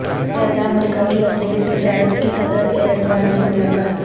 متحدہ امریکہ کی وزیر تجارت کی صدر ایردوان سے ملاقات